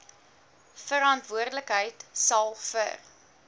verantwoordelikheid sal vir